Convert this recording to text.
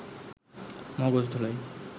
মগজ ধোলাই